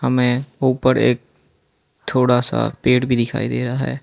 हमें ऊपर एक थोड़ा सा पेड़ भी दिखाई दे रहा है।